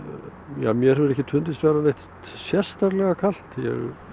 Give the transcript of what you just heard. mér hefur ekki fundist neitt sérstaklega kalt ég